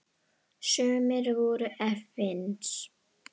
Sumir voru efins.